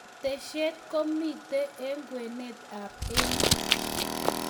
keteshet komito eng' kwenet ab emet